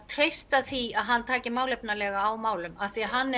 treyst því að hann taki málefnalega á málum því hann